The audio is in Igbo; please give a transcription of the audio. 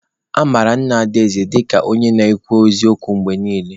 A mara Nna Adaeze dịka onye na-akwụ n'eziokwu mgbe niile.